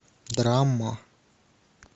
драма